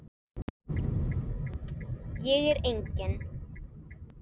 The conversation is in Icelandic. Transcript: Ég er engin.